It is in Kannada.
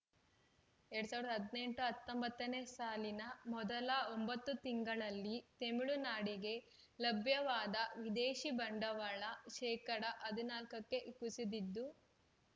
ಎರಡ್ ಸಾವಿರದ ಹದಿನೆಂಟು ಹತ್ತೊಂಬತ್ತ ನೇ ಸಾಲಿನ ಮೊದಲ ಒಂಬತ್ತು ತಿಂಗಳಲ್ಲಿ ತಮಿಳುನಾಡಿಗೆ ಲಭ್ಯವಾದ ವಿದೇಶಿ ಬಂಡವಾಳ ಶೇಕಡಾ ಹದ್ ನಾಲ್ಕಕ್ಕೆ ಕುಸಿದಿದ್ದು